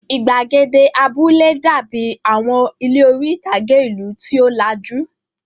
Ìgbàgede abúlé dàbí àwọn ilé orí-ìtàgé ìlú tí ó lajú.